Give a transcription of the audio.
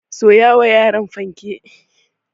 Soya wa yaran fanke.